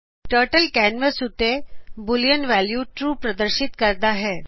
turtle canvas ਉਤੇ boolean value true ਪ੍ਰਦਰਸ਼ਿਤ ਕਰਦਾ ਹੈ